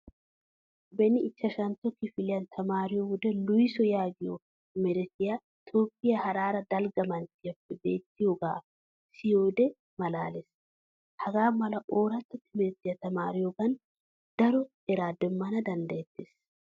Beni ichchashantto kifiliyan tamaariyo wode Lucy yaagiyo merettiya toophphiya Harare dalgga manttiyappe beettoogaa siyiyode malaales. Hagaa mala ooratta timirttiya tamaariyogan daro eraa demmana danddayettes.